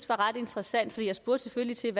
var ret interessant jeg spurgte selvfølgelig til